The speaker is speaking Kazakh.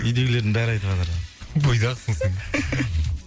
үйдегілердің бәрі айтыватыр бойдақсың сен